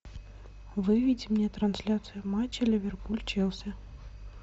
выведи мне трансляцию матча ливерпуль челси